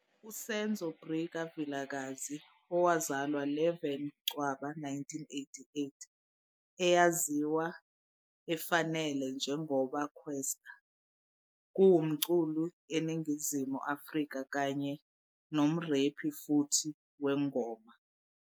USenzo Brikka Vilakazi, owazalwa 11 Ncwaba 1988, eyaziwa efanele njengoba Kwesta, kuwumculi eNingizimu Afrika kanye nomrephi futhi wengoma.